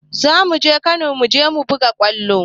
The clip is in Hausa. Za mu je Kano mu je mu buga kwallo